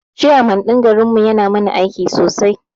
Chairman ɗin garin mu yana mana aiki sosai